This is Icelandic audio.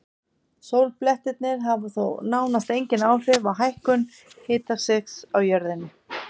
Sólblettirnir hafa þó nánast engin áhrif á hækkun hitastigs á jörðunni.